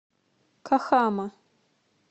кахама